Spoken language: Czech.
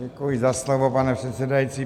Děkuji za slovo, pane předsedající.